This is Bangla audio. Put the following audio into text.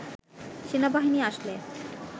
সেনাবাহিনী আসলে